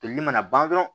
Toli mana ban dɔrɔn